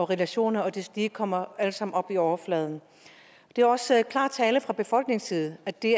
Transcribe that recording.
relationer og deslige det kommer alt sammen op på overfladen det er også klar tale fra befolkningens side at det